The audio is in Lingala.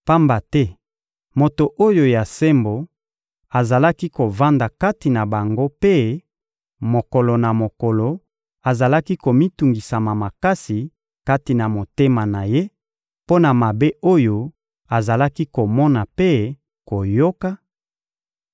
(pamba te moto oyo ya sembo azalaki kovanda kati na bango mpe, mokolo na mokolo, azalaki komitungisa makasi kati na motema na ye mpo na mabe oyo azalaki komona mpe koyoka),